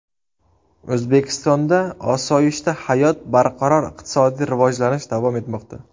O‘zbekistonda osoyishta hayot, barqaror iqtisodiy rivojlanish davom etmoqda.